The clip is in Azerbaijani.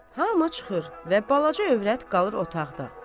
Hə, maaş çıxır və balaca övrət qalır otaqda.